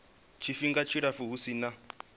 tshifhinga tshilapfu hu si na